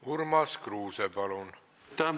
Urmas Kruuse, palun!